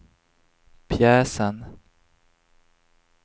pjäsen